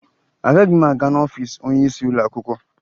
Agaghị m aga n'ọfiisi onyeisi ụlọakwụkwọ